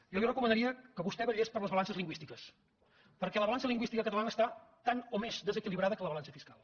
jo li recomanaria que vostè vetllés per les balances lingüístiques perquè la balança lingüística catalana està tant o més des equilibrada que la balança fiscal